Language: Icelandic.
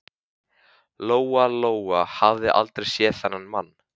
Lóa-Lóa hafði aldrei séð þennan mann.